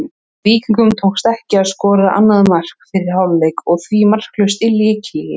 Víkingum tókst ekki að skora annað mark fyrir hálfleik og því markalaust í leikhléi.